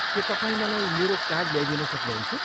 के तपाईँ मलाई मेरो कार्ड ल्याइदिन सक्नुहुन्छ?